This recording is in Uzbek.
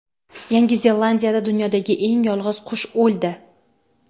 Yangi Zelandiyada dunyodagi eng yolg‘iz qush o‘ldi.